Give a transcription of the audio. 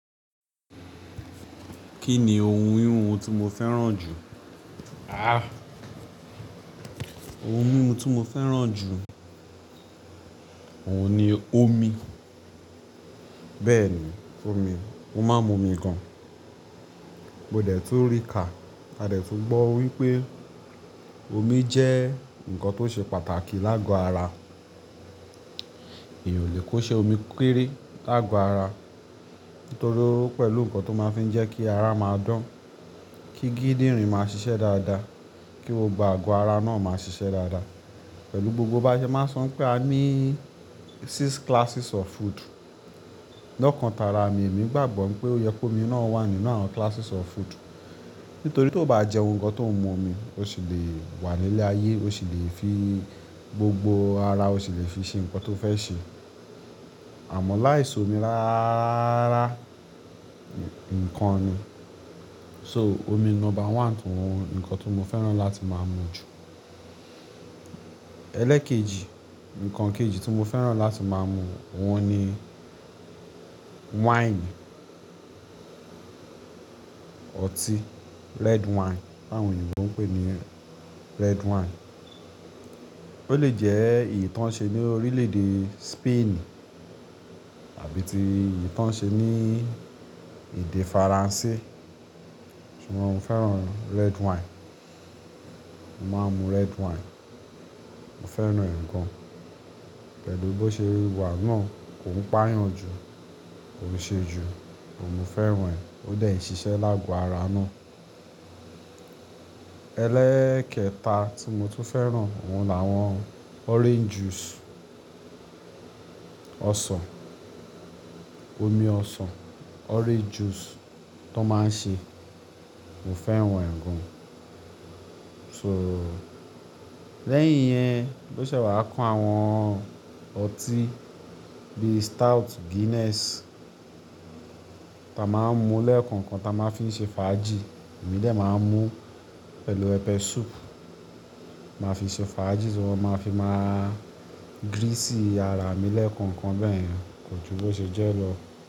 Kí ni ohun híhun tí mo fẹ́ràn jù? Ah! Ohun mímu tí mo fẹ́ràn jù, òun ni omi. Bẹ́ẹ̀ni omi, mo máa ń mu omi gan. Mo dẹ̀ tún rí kà, a dẹ̀ tún gbọ́ wípé omi jẹ́ ǹkan tó ṣe pàtàkì láàgò ara. Mi ò lè kó ṣe omi kéré láàgò ara. Nítorí ó pẹ̀lú ǹkan tó máa ń fi ń jẹ́ kí ara máa dán, kí gídírin máa ṣiṣẹ́ dáadáa, kí gbogbo àgò ara náà máa ṣiṣẹ́ dáadáa. Pẹ̀lú gbogbo báṣe, máa son pé a ní six classes of food. Lọ́kàn tara mi, èmi gbàgbọ́ pé ó yẹ kó omi náà wà nínú àwọn classes of food. Nítorí tó bá jẹun gan tó ń mu omi, o sì lè wà nílé ayé, o sì lè fi gbogbo ara, o sì lè fi ṣe ǹkan tó fẹ́ ṣe. Àmọ́ láìsí omi ráá ráá, ǹkan ni. So omi number one tó ǹkan tí mo fẹ́ràn láti máa mu jù. Ẹlẹ́ẹ̀kejì, ǹkan kejì tí mo fẹ́ràn láti máa mu, òun ni wine. Ọtí red wine, bá àwọn ènìyàn tó ń pè é ní red wine. Ó lè jẹ́ ìtàn ṣe ní orílè èdè Spain àbí ti ìtàn ṣe ní èdè Faransé. Ṣùgbọ́n mo fẹ́ràn red wine. Mo máa ń mu red wine. Mo fẹ́ràn rẹ̀ gan. Pẹ̀lú bó ṣe wíwà náà kò ń pà yàn jù, kò ṣe jù, mo fẹ́ràn rẹ̀. Ó dẹ̀ ṣiṣẹ́ láàgò ara náà. Ẹlẹ́ẹ̀kẹta tí mo tún fẹ́ràn, òun làwọn orange juice. Ọsàn, omi ọsàn, orange juice tó máa ń ṣe, mo fẹ́ràn rẹ̀ gan. So lẹ́yìn yẹn, bó ṣe wà kọ́ àwọn ọtí bí i stout Guinness ta máa ń mu lẹ́ẹ̀kọ̀kan ta máa ń fi ṣe fàájì. Èmi dè máa ń mu pẹ̀lú pepẹ̀ soup. Màá fi ṣe fàájì, sì wọ́n máa fi máa grease ara mi lẹ́ẹ̀kọ̀kan bẹ́ẹ̀. Kò ju bó ṣe jẹ́ lọ.